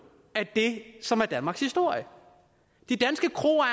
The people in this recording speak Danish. af det som er danmarks historie de danske kroer